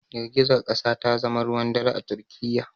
Girgizar kasa ta zama ruwan dare a Turkiyya